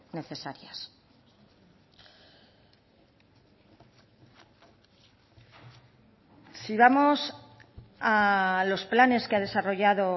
necesarias si vamos a los planes que ha desarrollado